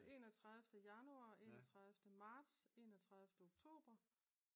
Enogtredive januar enogtredive marts enogtredive oktober